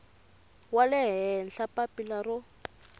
wa le henhla papila ro